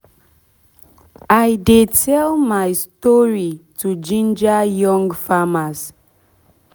i dey tell my story to ginger young farmers